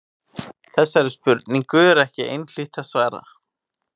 Þessari spurningu er ekki einhlítt að svara.